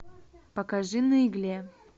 покажи на игле